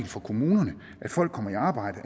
for kommunerne at folk kommer i arbejde